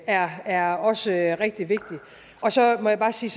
er er også rigtig vigtigt og så må jeg bare sige